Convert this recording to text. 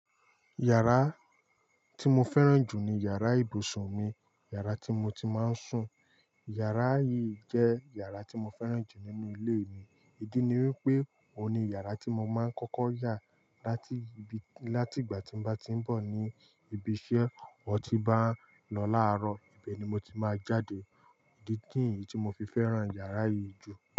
Yàrá tí mo fẹ́ràn jù ni yàrá ibùsùn mi, yàrá tí mo ti máa ń sùn. Yàrá yìí jẹ́ yàrá tí mo fẹ́ràn jù nínú ilé mi. Ìdí ni wípé ohun ni yàrá tí mo máa ń kọ́kọ́ yà láti ìbí, láti ìgbà tí bá ti ń bọ̀ ni ibi iṣẹ́ or ti bá ń lọ láàárọ̀, ibẹ̀ ni mo ti máa jáde. Ìdí kèyí tí mo fi fẹ́ràn yàrá yìí jù.